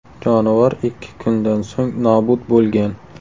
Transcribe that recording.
Jonivor ikki kundan so‘ng nobud bo‘lgan.